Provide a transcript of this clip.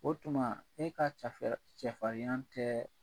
O tuma e ka cafɛrɛ cɛ farinya tɛ